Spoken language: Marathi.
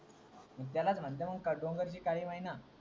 त्यालाच म्हणतात डोंगरची काली मैना